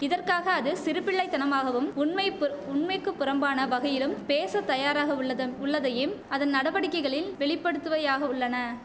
இதற்காக அது சிறுபிள்ளைத்தனமாகவும் உண்மைப்பு உண்மைக்கு புறம்பான வகையிலும் பேச தயாராகவுள்ளதும் வுள்ளதைம் அதன் நடவடிக்கைகளில் வெளிப்படுத்துவையாக உள்ளன